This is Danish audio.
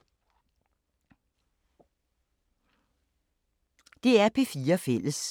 DR P4 Fælles